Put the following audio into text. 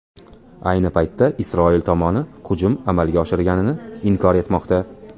Ayni paytda, Isroil tomoni hujum amalga oshirilganini inkor etmoqda.